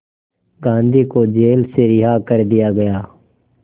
गांधी को जेल से रिहा कर दिया गया